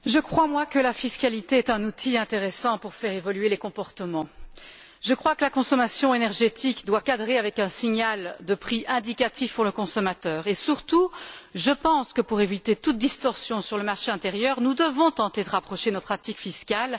Monsieur le Président, je crois que la fiscalité est un outil intéressant pour faire évoluer les comportements. Je crois que la consommation énergétique doit cadrer avec un signal de prix indicatif pour le consommateur et surtout je pense que, pour éviter toute distorsion sur le marché intérieur, nous devons tenter de rapprocher nos pratiques fiscales.